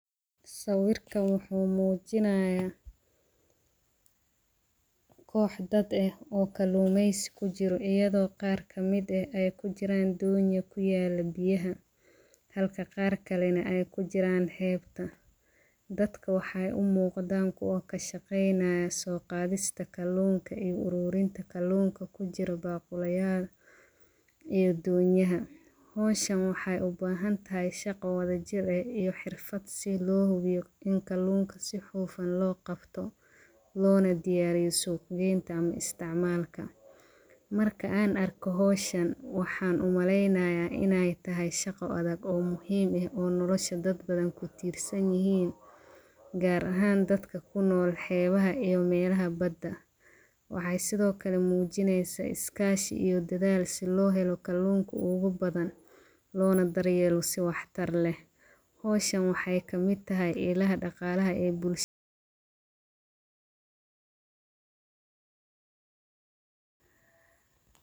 Sawirkan wuxu mujinay, koox dad eh oo kalumeys kujiro iyado qaar kamid eh ay kujiran doon kuyalo biyaxa, xalka qarkale nah ay kujitan xeebta, dadka waxay umugdan kuwa kashaqeynaya soqadista kalunka iyo ururinta kalunka kujiro baguliyal iyo donyaxa, xowshan waxay ubaxantaxay shago wadajir ah iyo xirfad si loxubiyo in kalunka si xufaan logabto, lonadiyariyo suug qenta ama isticmalka, marka an arko xowshan waxan umaleynaya inay taxay shago adag o muxiim eh oo nolosha dad badan kutirsan yixin, gaar axan dadka kunol xebaxa iyo mela badaa, wxay Sidhokale mujineysa iskashi iyo dadal si loxelo kalunka o gu badan , lonadaryelo si wax tar leh, xowshan waxay kamid taxay ilaxa daqalaha ee bulshadha.